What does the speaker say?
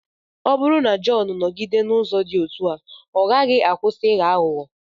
Ọ bụrụ na Jọn nọgide n’ụzọ dị otú a, ọ gaghị akwụsị ịghọ aghụghọ.